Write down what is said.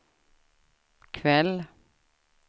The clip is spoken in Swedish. kväll